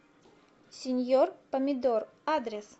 сеньор помидор адрес